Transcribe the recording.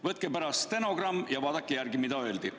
Võtke pärast stenogramm ja vaadake järele, mida öeldi.